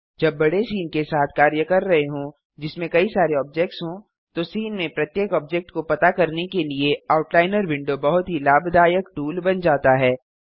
जब बड़े सीन के साथ कार्य कर रहे हों जिसमें कई सारे ऑब्जेक्ट्स हों तो सीन में प्रत्येक ऑब्जेक्ट को पता करने के लिए आउटलाइनर विंडो बहुत ही लाभदायक टूल बन जाता है